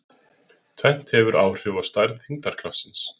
Tvennt hefur áhrif á stærð þyngdarkraftsins.